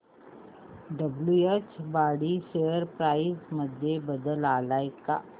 WH Brady share price मध्ये बदल आलाय का